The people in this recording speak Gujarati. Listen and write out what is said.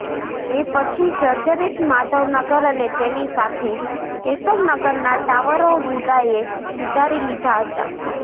એ પછી જર્જરિત માધવનગર અને તેની સાથે કેશવનગરના ટાવરો વુડાએ ઊતારી લીધા હતા